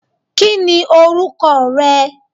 Kíni orúkọ rẹ?